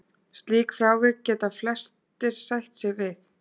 Slík frávik geta flestir sætt sig við.